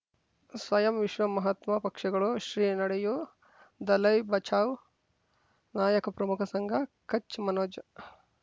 ಸ್ವಯಂ ವಿಶ್ವ ಮಹಾತ್ಮ ಪಕ್ಷಗಳು ಶ್ರೀ ನಡೆಯೂ ದಲೈ ಬಚೌ ನಾಯಕ ಪ್ರಮುಖ ಸಂಘ ಕಚ್ ಮನೋಜ್